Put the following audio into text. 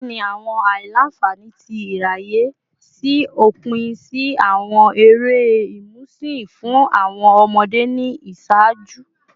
Kini awọn aila-nfani ti iraye si opin si awọn ere imusin fun awọn ọmọde ni iṣaaju?